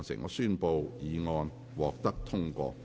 我宣布議案獲得通過。